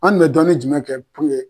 An kun be dɔnni jumɛn kɛ puruke